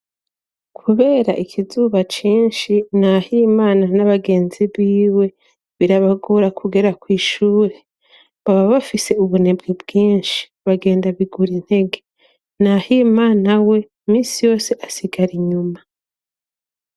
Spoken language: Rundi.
Kubera ikizuba cinshi Nahimana n'abagenzi biwe birabagora kugera kw'ishuri, baba bafise ubunebwe bwinshi bagenda bigurintege, Nahimana we misi yose asigara inyuma.